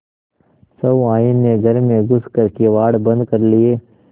सहुआइन ने घर में घुस कर किवाड़ बंद कर लिये